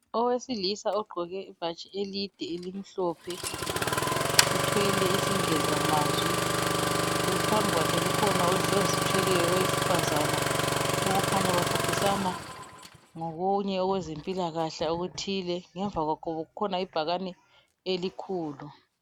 Owesilisa ogqoke ibhatshi elide elimhlophe. Uthwele isingezamabi. Phambi kwakhe kukhona ozithweleyo owesifazana okhanya baxoxisana ngokunye okwezempilakahle okuthile. Ngemvakwakhe kukhona ibhakane elikhulu.